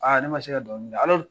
ne ma se ka dɔnkili da